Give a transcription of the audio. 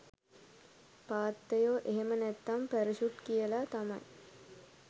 පාත්තයො එහෙම නැත්තම් පැරෂුට් කියලා තමයි